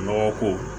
Nɔgɔ ko